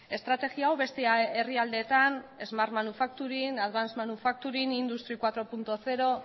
estrategia hau beste herrialdeetan smart manufacturing advance manucfacturing industry lau puntu zero